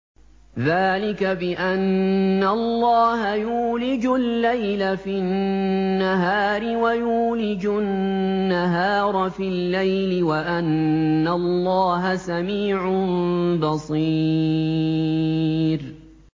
ذَٰلِكَ بِأَنَّ اللَّهَ يُولِجُ اللَّيْلَ فِي النَّهَارِ وَيُولِجُ النَّهَارَ فِي اللَّيْلِ وَأَنَّ اللَّهَ سَمِيعٌ بَصِيرٌ